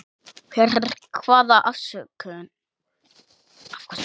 Fyrir hvaða afköst?